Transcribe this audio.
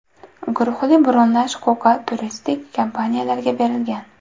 Guruhli bronlash huquqi turistik kompaniyalarga berilgan.